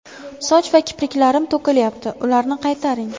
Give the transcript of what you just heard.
Soch va kipriklarim to‘kilyapti – ularni qaytaring!.